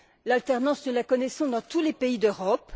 L'alternance, nous la connaissons dans tous les pays d'Europe.